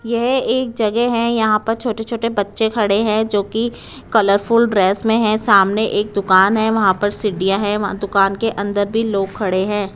यह एक जगह है यहां पर छोटे छोटे बच्चे खड़े हैं जो की कलरफुल ड्रेस में है सामने एक दुकान है वहां पर सीढ़ियां है वहां दुकान के अंदर भी लोग खड़े हैं।